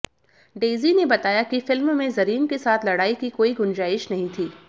Daisy ने बताया कि फिल्म में जरीन के साथ लड़ाई की कोई गुंजाइश नहीं थी